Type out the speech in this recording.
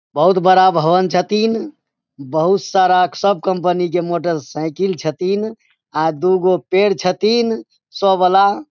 बहुत बड़ा भवन छथीन बहुत सारा सब कंपनी के मोटर साइकिल छथीन आ दु गो पेड़ छथीन स वाला।